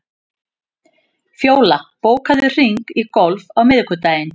Fjóla, bókaðu hring í golf á miðvikudaginn.